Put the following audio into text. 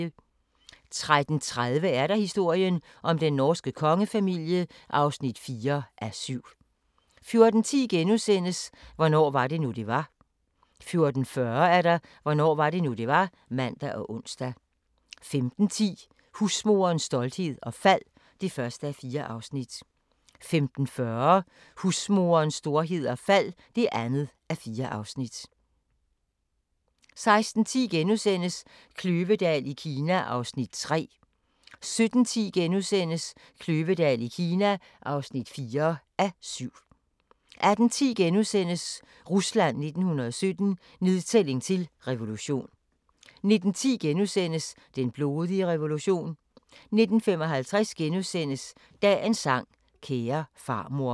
13:30: Historien om den norske kongefamilie (4:7) 14:10: Hvornår var det nu, det var? * 14:40: Hvornår var det nu, det var? (man og ons) 15:10: Husmoderens storhed og fald (1:4) 15:40: Husmorens storhed og fald (2:4) 16:10: Kløvedal i Kina (3:7)* 17:10: Kløvedal i Kina (4:7)* 18:10: Rusland 1917 – nedtælling til revolution * 19:10: Den blodige revolution * 19:55: Dagens sang: Kære farmor *